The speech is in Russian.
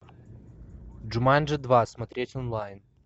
джуманджи два смотреть онлайн